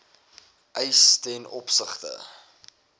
eis ten opsigte